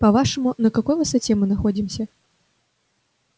по-вашему на какой высоте мы находимся